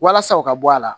Walasa u ka bɔ a la